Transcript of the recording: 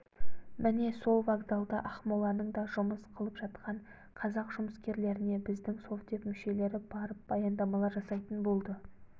міне сол вокзалда ақмоланың да жұмыс қылып жатқан қазақ жұмыскерлеріне біздің совдеп мүшелері барып баяндамалар жасайтын болды